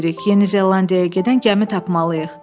Yeni Zelandiyaya gedən gəmi tapmalıyıq.